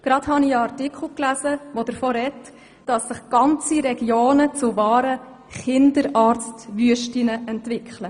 Gerade habe ich einen Artikel gelesen, der davon spricht, dass sich ganze Regionen zu wahren «Kinderarztwüsten» entwickeln.